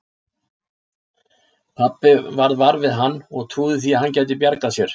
Pabbi varð var við hann og trúði því að hann gæti bjargað sér.